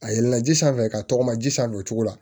A yɛlɛla ji sanfɛ ka tɔgɔma ji san o cogo la